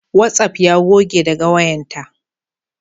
Watsaf ya goge daga wayanta